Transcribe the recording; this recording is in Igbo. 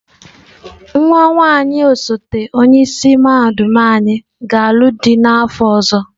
Nwa nwaanyị osote onye isi mahadum anyị ga-alụ dị n'afọ ọzọ.